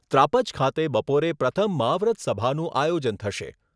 ત્રાપજ ખાતે બપોરે પ્રથમ મહાવ્રત સભાનું આયોજન થશે.